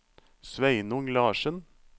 Sveinung Larssen